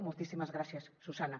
moltíssimes gràcies susanna